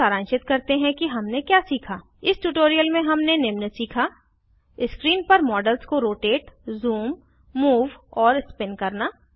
अब सारांशित करते हैं कि हमने क्या सीखा इस ट्यूटोरियल में हमने निम्न सीखा स्क्रीन पर मॉडल को रोटेट ज़ूम मूव और स्पिन करना